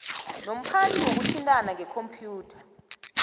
nomphathi wokuthintana ngekhompyutha